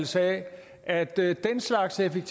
sådan at det